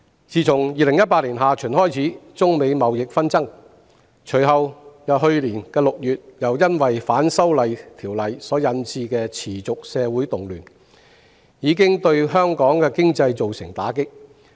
自從2018年下旬開始中美貿易紛爭，隨後去年6月又因反修例持續發生社會動亂，香港經濟備受打擊。